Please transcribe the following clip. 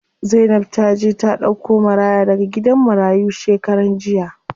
Zainab taje ta ɗauko maraya daga gidan marayu shekaran jiya.